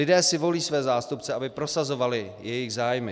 Lidé si volí své zástupce, aby prosazovali jejich zájmy.